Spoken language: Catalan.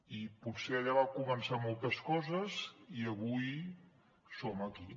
i potser allà van començar moltes coses i avui som aquí